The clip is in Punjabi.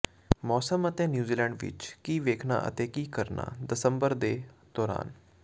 ਮੌਸਮ ਅਤੇ ਨਿਊਜ਼ੀਲੈਂਡ ਵਿੱਚ ਕੀ ਵੇਖਣਾ ਅਤੇ ਕੀ ਕਰਨਾ ਦਸੰਬਰ ਦੇ ਦੌਰਾਨ